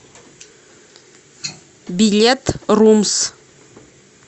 билет румс